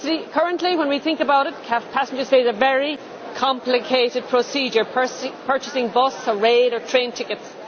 Currently, when we think about it, passengers face a very complicated procedure, purchasing bus or train tickets.